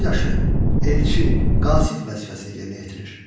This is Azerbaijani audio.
Elçi, Qasid vəzifəsini yerinə yetirir.